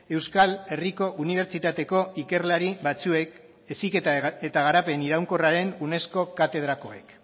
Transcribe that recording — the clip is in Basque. euskal herriko unibertsitateko ikerlari batzuek heziketa eta garapen iraunkorraren unesco katedrakoek